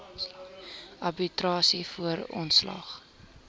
arbitrasie voor ontslag